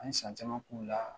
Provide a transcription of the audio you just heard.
An ye san caman k'u la